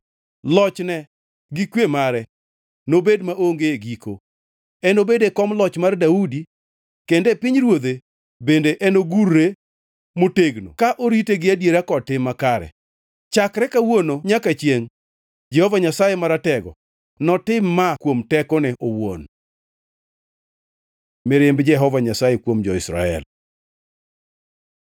Lochne gi kwe mare nobed maonge giko. Enobed e kom loch mar Daudi kendo e pinyruodhe, bende enogure motegno ka orite gi adiera kod tim makare, chakre kawuono nyaka chiengʼ. Jehova Nyasaye Maratego notim ma kuom tekone owuon. Mirimb Jehova Nyasaye kuom jo-Israel